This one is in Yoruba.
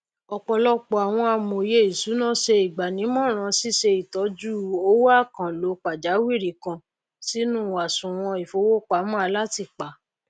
ọpọlọpọ àwon amòye ìsúná se ìgbànímọràn síse ìtọjú owó àkànlò pàjáwìrì kan sínú àsùwọn ìfowópamọ alátìpa